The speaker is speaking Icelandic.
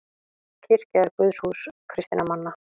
Kirkja er guðshús kristinna manna.